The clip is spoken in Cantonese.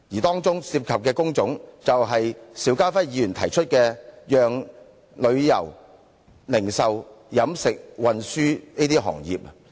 當中涉及的工種，就是邵家輝議員提到的旅遊、零售、飲食和運輸等行業。